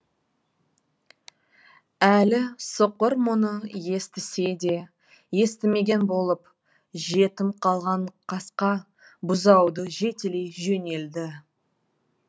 әлі соқыр мұны естісе де естімеген болып жетім қалған қасқа бұзауды жетелей жөнелді